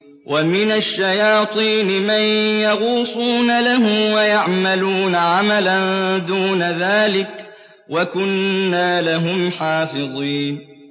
وَمِنَ الشَّيَاطِينِ مَن يَغُوصُونَ لَهُ وَيَعْمَلُونَ عَمَلًا دُونَ ذَٰلِكَ ۖ وَكُنَّا لَهُمْ حَافِظِينَ